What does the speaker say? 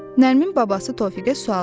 Nərmin babası Tofiqə sual verdi: